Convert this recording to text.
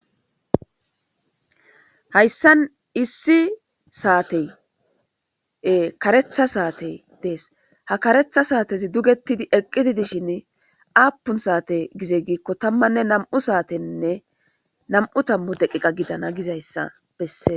Hayisan issi sate e karetha sate dees ha karetha sate eqidi dishin apun sate giko tama na'mu satenee na'mu tamu deqeqa gidana gidaysa beses